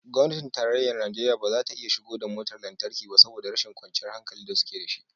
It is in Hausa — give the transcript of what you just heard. Gwamnatin tarayyar Najeriya ba za ta iya shigo da motar lantarki ba saboda rashin kwanciyar hankali da suke da shi